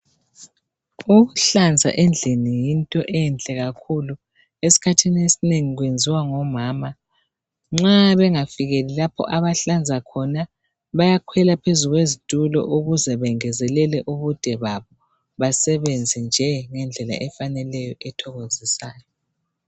Ukuhlanza endlini yinto enhle kakhulu esikhathini esinengi kwenziwa ngomama, nxa bengafikeli lapha abahlanza khona bayakhwela phezu kwezitulo ukuze bengezelele ubude babo basebenze nje ngendlela efaneleyo ethokozisayo.